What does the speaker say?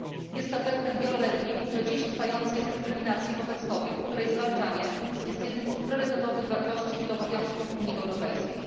Jest efektem wieloletniej, do dziś trwającej, dyskryminacji wobec kobiet, której zwalczanie jest jednym z priorytetowych wartości i obowiązków Unii Europejskiej.